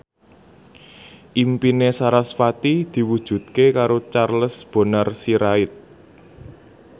impine sarasvati diwujudke karo Charles Bonar Sirait